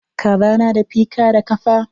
Kaza na da fika da kafa.